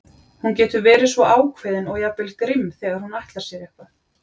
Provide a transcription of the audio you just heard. Hún getur verið svo ákveðin og jafnvel grimm þegar hún ætlar sér eitthvað.